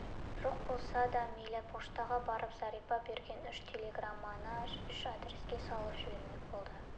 жоқ болса да мейлі поштаға барып зәрипа берген үш телеграмманы үш адреске салып жібермек болды